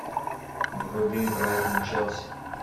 вруби брайтон челси